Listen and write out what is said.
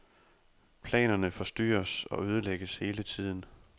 Planerne forstyrres og ødelægges hele tiden.